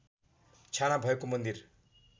छाना भएको मन्दिर